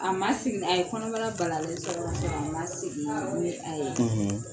A ma sigi a ye kɔnɔbara balalen sɔrɔ ka sɔrɔ a ma segin ni a ye